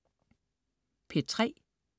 P3: